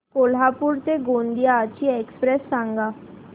कोल्हापूर ते गोंदिया ची एक्स्प्रेस सांगा